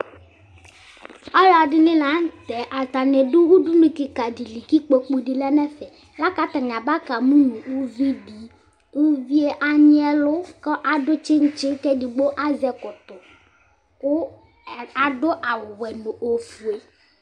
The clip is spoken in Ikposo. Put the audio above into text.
Alʋ ɛdini la nʋ tɛ Atani dʋ udunu kika di li kʋ ikpoku di lɛ nʋ ɛfɛ, la kʋ atani abaka mʋ nʋ uvi di Uvie anyi ɛlʋ kʋ adʋ tsitsi kʋ ɛdigbo azɛ ɛkɔtɔ kʋ adʋ awʋ wɛ nʋ ofue